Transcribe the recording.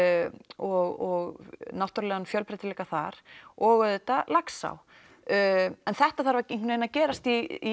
og náttúrulegan fjölbreytileika þar og auðvitað Laxá en þetta þarf einhvern veginn að gerast í